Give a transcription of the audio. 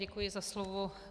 Děkuji za slovo.